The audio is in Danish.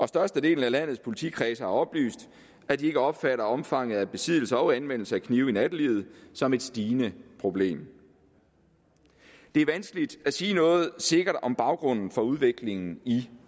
størstedelen af landets politikredse har oplyst at de ikke opfatter omfanget af besiddelse og anvendelse af knive i nattelivet som et stigende problem det er vanskeligt at sige noget sikkert om baggrunden for udviklingen i